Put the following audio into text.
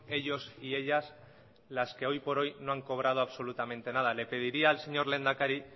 ellos y ellas las que hoy por hoy no han cobrado absolutamente nada le pediría al señor lehendakari